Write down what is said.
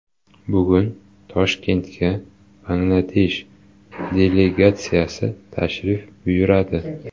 Bugun Toshkentga Bangladesh delegatsiyasi tashrif buyuradi.